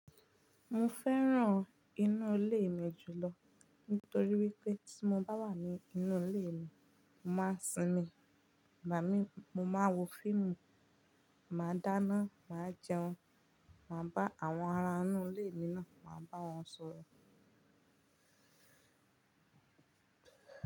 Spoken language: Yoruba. Mo fẹ́ràn inú ilé mi jùlọ nítorí wípé tí mo bá wà ní inú ilé mi, mo máa ń sinmi, igbamí, mo máa wo fíìmù, màá dáná, màá jẹun, màá bá àwọn ará inú ilé mi náà, màá bá wọn sọ̀rọ̀.